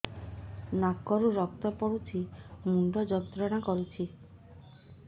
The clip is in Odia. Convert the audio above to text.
ନାକ ରୁ ରକ୍ତ ପଡ଼ୁଛି ମୁଣ୍ଡ ଯନ୍ତ୍ରଣା କରୁଛି